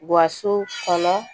Wa so kɔnɔ